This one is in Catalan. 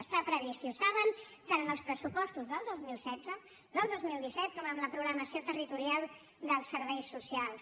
està previst i ho saben tant en els pressupostos del dos mil setze del dos mil disset com en la programació territorial dels serveis socials